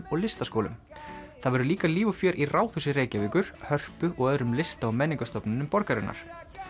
og listaskólum það verður líka líf og fjör í Ráðhúsi Reykjavíkur Hörpu og öðrum lista og menningarstofnunum borgarinnar